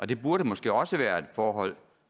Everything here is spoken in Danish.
det burde måske også være et forhold